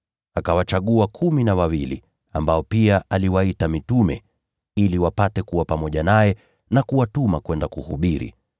Akawachagua kumi na wawili, ambao aliwaita mitume, ili wapate kuwa pamoja naye, na awatume kwenda kuhubiri